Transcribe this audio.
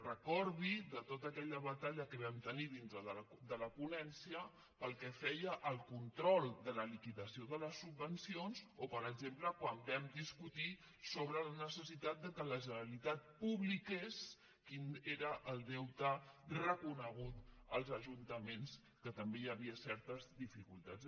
recordi tota aquella batalla que vam tenir dintre de la ponència pel que feia al control de la liquidació de les subvencions o per exemple quan vam discutir sobre la necessitat que la generalitat publiqués quin era el deute reconegut als ajuntaments que també hi havia certes dificultats